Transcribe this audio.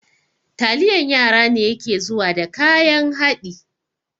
Taliyan yara ne yake zuwa da kayan haɗi